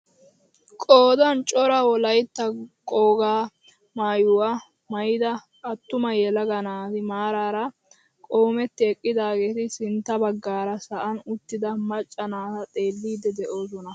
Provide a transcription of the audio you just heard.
Qoodan cora wolaytta qogaa maayuwaa maayida attuma yelaga naati maarara qoometi eqqidaageti sintta baggaara sa'an uttida macca naata xeellidi de'oosona.